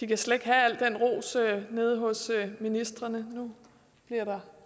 de kan slet ikke have al den ros nede hos ministrene nu bliver der